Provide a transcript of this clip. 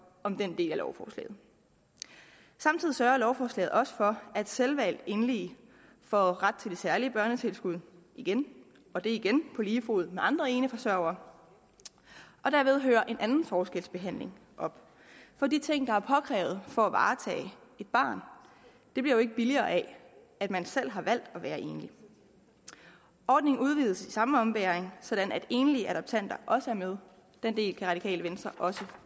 om den del af lovforslaget samtidig sørger lovforslaget også for at selvvalgt enlige får ret til det særlige børnetilskud igen og det er igen på lige fod med andre eneforsørgere og derved hører en anden forskelsbehandling op for de ting der er påkrævet for at varetage et barn bliver jo ikke billigere af at man selv har valgt at være enlig ordningen udvides i samme ombæring sådan at enlige adoptanter også er med den del kan radikale venstre også